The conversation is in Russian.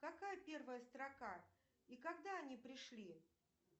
какая первая строка и когда они пришли